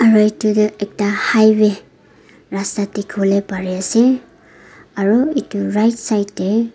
aro edu toh ekta highway rasta dikhiwolae parease aru edu right side tae.